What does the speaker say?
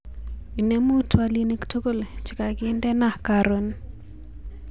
Inemu twolinik tugul chekakindena karon